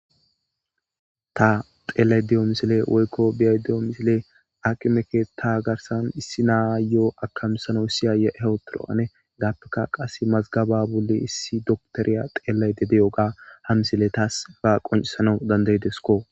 ta xeellay de7iyo misile woykko biyay de7o misile akime ketha garsan issi naa yo7o akamsano issiyaye hewotoro7ane gaappeka qas mazgaba bolle issi doktoriya xeelayde deyoga ha misile taasfa qonisano dandaydesko